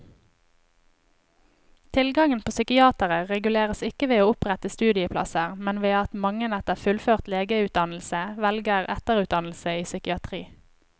Tilgangen på psykiatere reguleres ikke ved å opprette studieplasser, men ved at mange etter fullført legeutdannelse velger etterutdannelse i psykiatri.